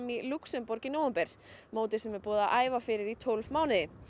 í Lúxemborg í nóvember móti sem búið er að æfa fyrir í tólf mánuði